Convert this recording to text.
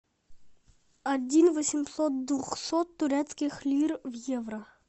один восемьсот двухсот турецких лир в евро